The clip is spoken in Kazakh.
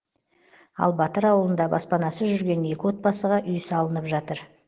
ал батыр ауылында баспанасыз жүрген екі отбасыға үй салынып жатыр